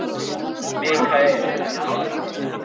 Mikkael, ekki fórstu með þeim?